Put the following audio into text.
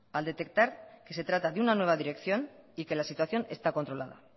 al detectar que se trata de una nueva dirección y que la situación está controlada